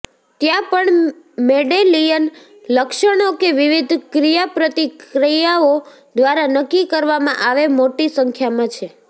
ત્યાં પણ મેડેલિયન લક્ષણો કે વિવિધ ક્રિયાપ્રતિક્રિયાઓ દ્વારા નક્કી કરવામાં આવે મોટી સંખ્યામાં છે